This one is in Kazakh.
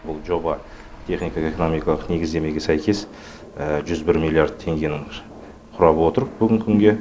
бұл жоба техникалық экономикалық негіздемеге сәйкес жүз бір миллиард теңгені құрап отыр бүгінгі күнге